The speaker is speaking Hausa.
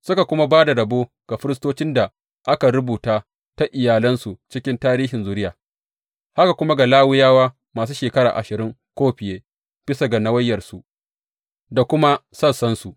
Suka kuma ba da rabo ga firistocin da aka rubuta ta iyalansu cikin tarihin zuriya, haka kuma ga Lawiyawa masu shekara ashirin ko fiye, bisa ga nawayarsu da kuma sassansu.